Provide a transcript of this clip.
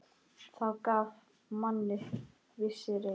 Það gaf manni vissa reisn.